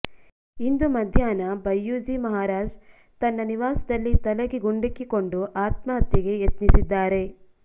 ಇಂದು ಮಧ್ಯಾಹ್ನ ಬಯ್ಯೂಜಿ ಮಹಾರಾಜ್ ತನ್ನ ನಿವಾಸದಲ್ಲಿ ತಲೆಗೆ ಗುಂಡಿಕ್ಕಿಕೊಂಡು ಆತ್ಮಹತ್ಯೆಗೆ ಯತ್ನಿಸಿದ್ದಾರೆ